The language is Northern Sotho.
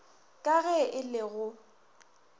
ka ge e le go